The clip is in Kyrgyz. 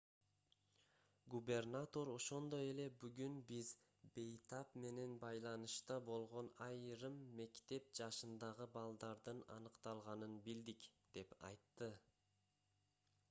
губернатор ошондой эле бүгүн биз бейтап менен байланышта болгон айрым мектеп жашындагы балдардын аныкталганын билдик деп айтты